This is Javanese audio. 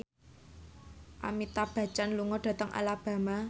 Amitabh Bachchan lunga dhateng Alabama